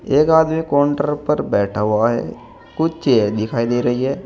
एक आदमी काउंटर पर बैठा हुआ है कुछ चेयर दिखाई दे रही है।